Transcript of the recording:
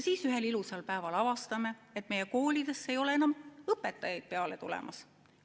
Siis ühel ilusal päeval avastame, et meie koolidesse ei ole enam õpetajaid peale tulemas.